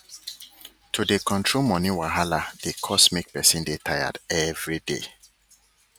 to dey control money wahaladey cause make person dey tired everyday